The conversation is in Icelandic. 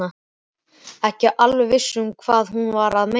Ekki alveg viss hvað hún var að meina.